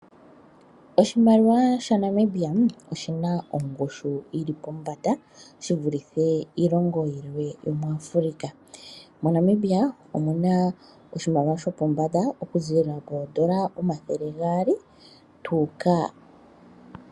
Oshimaliwa shaNamibia oshina ongushu yili pombanda, shi vulithe iilongo yilwe yomu Afulika. MoNamibia omuna oshimaliwa shopombanda okuziilila koondola omathele gaali.